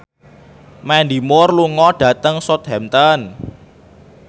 Mandy Moore lunga dhateng Southampton